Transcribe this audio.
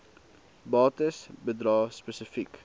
bates bedrae spesifiek